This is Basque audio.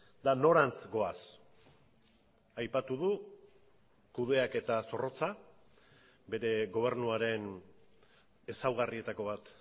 eta norantz goaz aipatu du kudeaketa zorrotza bere gobernuaren ezaugarrietako bat